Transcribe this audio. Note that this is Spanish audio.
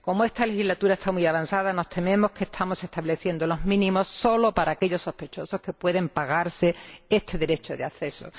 Como esta legislatura está muy avanzada, nos tememos que estamos estableciendo los mínimos solo para aquellos sospechosos que pueden pagarse este derecho de acceso.